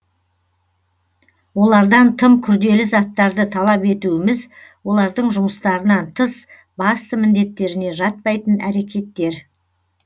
олардан тым күрделі заттарды талап етуіміз олардың жұмыстарынан тыс басты міңдеттеріне жатпайтын әрекеттер